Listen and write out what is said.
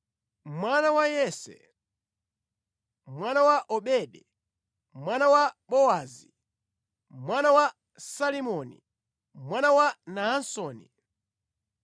mwana wa Yese, mwana wa Obedi, mwana wa Bowazi, mwana wa Salimoni, mwana wa Naasoni,